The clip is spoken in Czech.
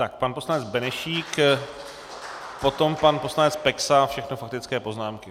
Tak pan poslanec Benešík, potom pan poslanec Peksa, všechno faktické poznámky.